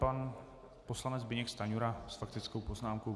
Pan poslanec Zbyněk Stanjura s faktickou poznámkou.